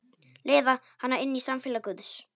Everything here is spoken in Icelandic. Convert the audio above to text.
Leiða hana inn í samfélag guðs.